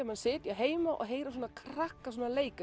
maður sitji heima og heyri svona krakka leika